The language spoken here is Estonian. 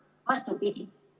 Vastupidi!